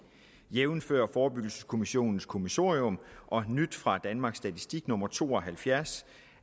jævnfør forebyggelseskommissionens kommissorium og nyt fra danmarks statistik nummer to og halvfjerds